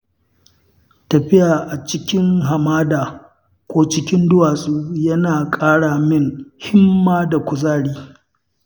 Tafiya a cikin hamada ko cikin duwatsu yana ƙara min himma da kuzari.